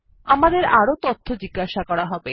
আমাদের আরো তথ্য জিজ্ঞাসা করা হবে